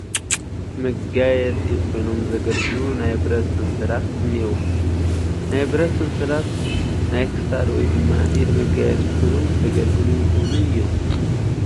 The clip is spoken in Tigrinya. መጋየፂ ኮይኖም ዘገልግሉ ናይ ብረት ሰንሰላት እኔዉ፡፡ ናይ ብረት ሰንሰላት ናይ ክሳድ ወይ ድማ ኢድ መጋየፂ ኮይኖም ከገልግሉ ይኽእሉ እዮም፡፡